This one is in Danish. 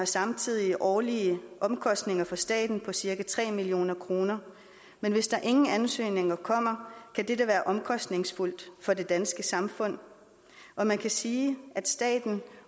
samtidig årlige omkostninger for staten på cirka tre million kroner men hvis der ingen ansøgninger kommer kan dette være omkostningsfuldt for det danske samfund og man kan sige at staten